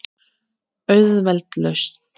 Auðveld lausn.